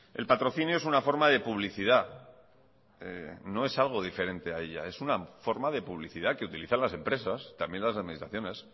el patrocinio es una forma de publicidad no es algo diferente a ella es una forma de publicidad que utilizan las empresas también las administraciones